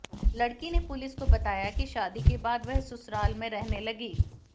लड़की ने पुलिस को बताया कि शादी के बाद वह ससुराल में रहने लगी